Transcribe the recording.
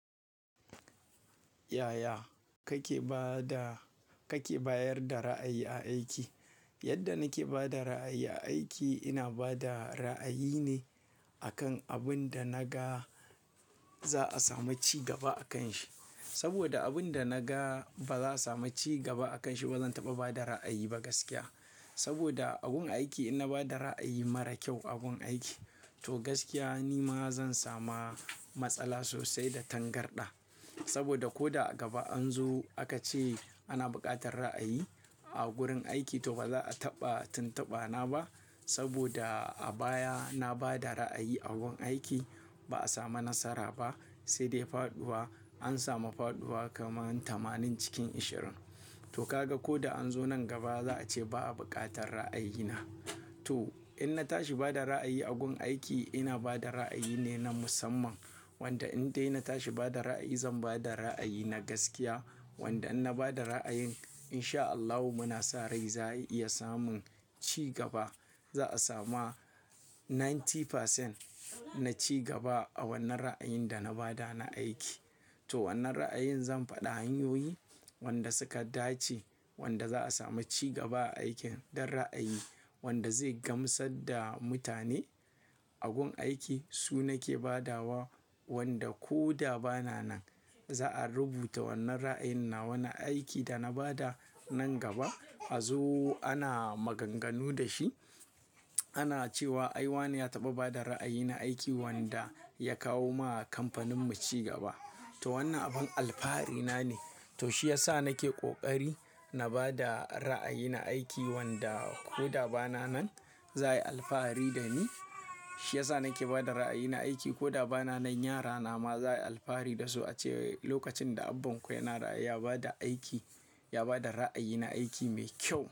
Yaya kake bayar da ra'ayi a aiki? Yadda nake ba da ra'ayi a aiki, ina ba da ra'ayi ne akan abin da naga za'a samu cigaba a kanshi. Saboda abin da naga ba za samu cigaba a kanshi, ba zan taɓa ba da ra'ayi ba gaskiya. Saboda a gun aiki ina bada ra'ayi mara kyau a gun aiki, to gaskiya ni ma zan samu matsala sosai da tangarɗa. Saboda ko a gaba an zo aka ce ana buƙatar ra'ayi a gurin aiki, to ba za a taɓa tintaba na ba. Saboda a baya na bada ra'ayi a gun aiki ba a samu nasara ba sai dai faɗuwa, an samu faɗuwa kaman tamanin cikin ashirin. To kaga ko da an zo nan gaba za a ce ba a buƙatar ra'ayina. To in na tashi bada ra'ayi a gun aiki, ina bada ra'ayi ne na musamman. Wanda in dai na tashi bada ra'ayi, zan bada ra'ayi na gaskiya. Wanda in na bada ra'ayin in sha Allahu muna sa rai za a iya samun cigaba. Za'a samu kashi casa'in na cigaba a wannan ra'ayin da na bada na aiki. To wannan ra'ayin zan faɗi hanyoyi wanda suka dace, wanda za'a samu cigaba a aikin dan ra'ayi, wanda zai gamsar da mutane a gun aiki, su nake badawa wanda ko da ba na nan. Za'a rubuta wannan ra'ayina, wannan aikin da na bada nan gaba a zo ana maganganu da shi. Ana cewa ai wane ya taɓa bada ra'ayi na aiki wanda ya kawo ma kamfaninmu cigaba. To wannan abin alfahari na ne. To shi yasa nake ƙoƙari na bada ra'ayi na aiki wanda ko da ba na nan zai yi alfahari da ni. Shi yasa nake bada ra'ayi na aiki ko da ba na nan, yara na ma zai yi alfahari da su a ce lokacin da abanku yana ra'ayi ya bada aiki, ya bada ra'ayi na aiki mai kyau.